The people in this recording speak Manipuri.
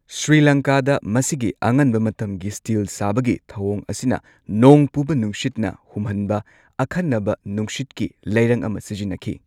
ꯁ꯭ꯔꯤꯂꯪꯀꯥꯗ ꯃꯁꯤꯒꯤ ꯑꯉꯟꯕ ꯃꯇꯝꯒꯤ ꯁ꯭ꯇꯤꯜ ꯁꯥꯕꯒꯤ ꯊꯧꯋꯣꯡ ꯑꯁꯤꯅ ꯅꯣꯡ ꯄꯨꯕ ꯅꯨꯡꯁꯤꯠꯅ ꯍꯨꯝꯍꯟꯕ ꯑꯈꯟꯅꯕ ꯅꯨꯡꯁꯤꯠꯀꯤ ꯂꯩꯔꯪ ꯑꯃ ꯁꯤꯖꯤꯟꯅꯈꯤ꯫